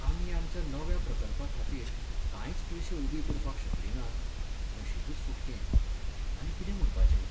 आमी आमच्या नव्या प्रकल्पाखातीर कांयच पयशे उबीं करपाक शकलीं नात, नशीबच फुटकें, आनी कितें म्हणपाचें.